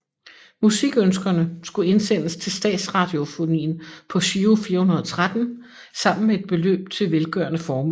Musikønskerne skulle indsendes til Statsradiofonien på Giro 413 sammen med et beløb til velgørende formål